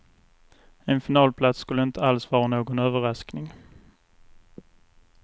En finalplats skulle inte alls vara någon överraskning.